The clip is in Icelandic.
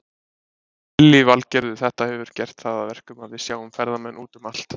Lillý Valgerður: Þetta hefur gert það að verkum að við sjáum ferðamenn út um allt?